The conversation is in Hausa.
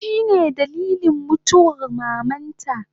Shine dalilin mutuwar mamanta